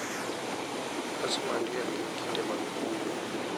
Nyasi mag liel gin kinde mag kuyo,